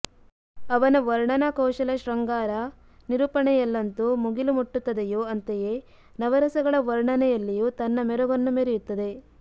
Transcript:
ಅವನ ವರ್ಣನಾಕೌಶಲ ಶೃಂಗಾರ ನಿರೂಪಣೆಯಲ್ಲೆಂತು ಮುಗಿಲು ಮುಟ್ಟುತ್ತದೆಯೋ ಅಂತೆಯೇ ನವರಸಗಳ ವರ್ಣನೆಯಲ್ಲಿಯೂ ತನ್ನ ಮೆರುಗನ್ನು ಮೆರೆಯುತ್ತದೆ